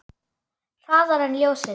Hraðar en ljósið.